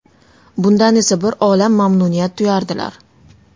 Bundan esa bir olam mamnuniyat tuyardilar.